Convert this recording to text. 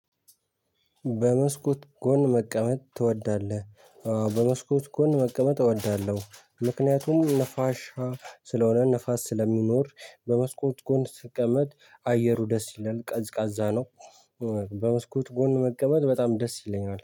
በመስኮት ጎን መቀመጥ ትወዳለህ? በመስኮት ጎን መቀመጥ እወዳለሁ። ምክንያቱም ንፋሻ ስለሆነ ንፋስ ስለሚኖር በመስኮት ጎን ስቀመጥ አየሩ ደስ ይላል ቀዝቃዛ ነው። በመስኮት ጎን መቀመጥ በጣም ደስ ይለኛል